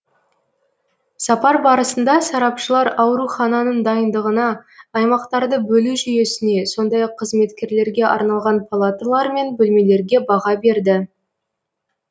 сапар барысында сарапшылар аурухананың дайындығына аймақтарды бөлу жүйесіне сондай ақ қызметкерлерге арналған палаталар мен бөлмелерге баға берді